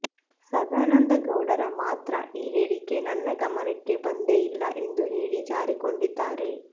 ಸದಾನಂದಗೌಡರ ಮಾತ್ರ ಈ ಹೇಳಿಕೆ ನನ್ನ ಗಮನಕ್ಕೆ ಬಂದೇ ಇಲ್ಲ ಎಂದು ಹೇಳಿ ಜಾರಿಕೊಂಡಿದ್ದಾರೆ